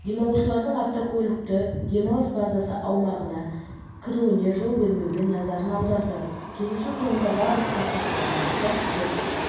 демалушылардың автокөліктері демалыс базасы аумағына кіруіне жол бермеуге назарын аударды кездесу соңында барлық қатысушыларға қауіпсіздік